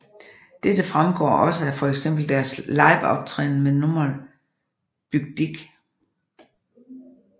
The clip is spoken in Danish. Dette fremgår også af fx deres liveoptræden med nummeret Bück Dich